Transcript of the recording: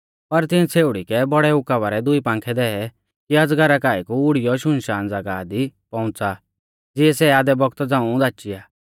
पर तिंऐ छ़ेउड़ी कै बौड़ै उकाबा रै दुई पांखै दै कि अजगरा काऐ कु उड़ियौ सुनसान ज़ागाह दी पौउंच़ा ज़िऐ सै आधै बौगता झ़ांऊ धाचिआ